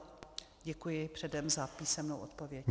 Děkuji předem za písemnou odpověď.